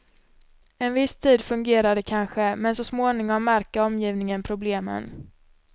En viss tid fungerar det kanske, men så småningom märker omgivningen problemen.